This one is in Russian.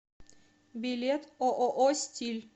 билет ооо стиль